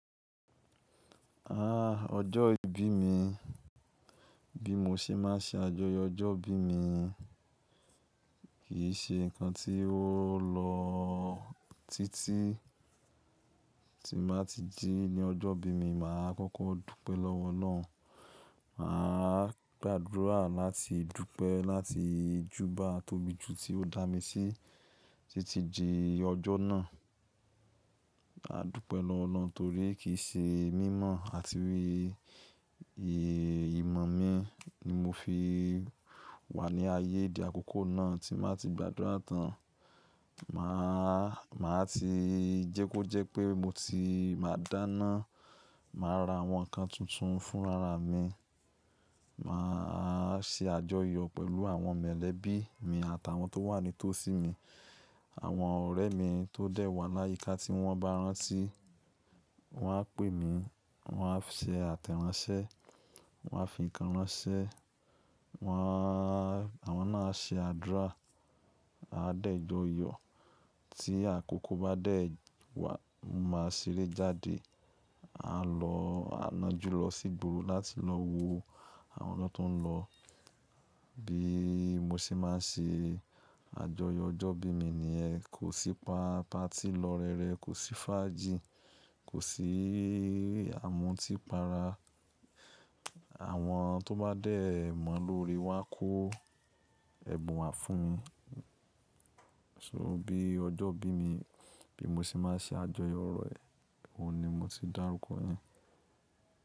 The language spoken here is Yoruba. Ah, ọjọ́ ìbí mi, bí mo ṣe máa ṣe àjọyọ̀ ọjọ́ ìbí mi. Kì í ṣe nǹkan tí ó lọ títí. Tí màá ti jí ní ọjọ́ ìbí mi, màá kọ́kọ́ dúpẹ́ lọ́wọ́ Ọlọ́run. Màá gbàdúrà láti dúpẹ́ láti júbà atóbijù tí ó dá mi sí títí di ọjọ́ náà. A dúpẹ́ lọ́wọ́ Ọlọ́run torí kì í ṣe mímọ̀ àti ìrè ìmọ̀ mi ni mo fi wà ní ayé di àkókò náà tí màá ti gbàdúrà tán. Màá, màá ti jẹ́ kó jẹ́ pé mo ti máa dáná. Màá ra àwọn nǹkan tuntun fún ara mi. Màá ṣe àjọyọ̀ pẹ̀lú àwọn molẹ̀bí mi àtàwọn tó wà nítòsí mi. Àwọn ọ̀rẹ́ mi tó dẹ̀ wà láyíká tí wọ́n bá rántí, wọ́n á pè mí, wọ́n á ṣe àtẹ̀ránsẹ́, wọ́n á fi nǹkan ránṣẹ́, wọ́n á, àwọn náà á ṣe àdúrà. A dẹ́jọ yọ. Tí àkókò bá dẹ̀ wà, mo máa ṣeré jáde. A lọ, a nájú lọ sí ìgboro láti lọ wo àwọn ọ̀nà tó ń lọ. Bí mo ṣe máa ṣe àjọyọ̀ ọjọ́ ìbí mi ni yẹn, kò sí pa patí lọ rere, kò sí fàájì, kò sí àmútípara. Àwọn tó bá dẹ̀ mọ̀ lórí wá kó ẹbùn wá fún mi. So bí ọjọ́ ìbí mi, bí mo ṣe máa ṣe àjọyọ̀ rẹ̀, òun ni mo ti dárúkọ rẹ̀.